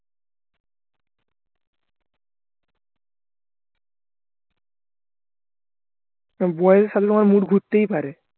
আর বয়সের সাথে তোমার mood ঘুরতেই পারে